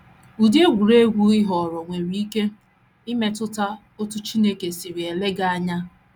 Ụdị egwuregwu ị họọrọ nwere ike imetụta otú Chineke si ele gị anya.